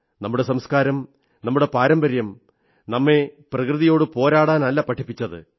നമ്മുടെ സംസ്കാരം നമ്മുടെ പാരമ്പര്യം നമ്മെ പ്രകൃതിയോടു പോരാടാനല്ല പഠിപ്പിച്ചത്